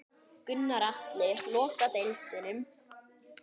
Gunnar Atli: Loka deildum?